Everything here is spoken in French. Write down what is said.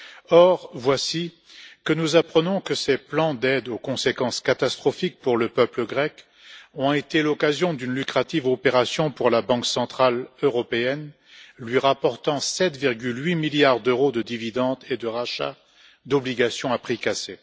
Or, voici que nous apprenons que ces plans d'aide aux conséquences catastrophiques pour le peuple grec ont été l'occasion d'une lucrative opération pour la Banque centrale européenne, lui rapportant 7,8 milliards d'euros de dividendes et de rachat d'obligations à prix cassés.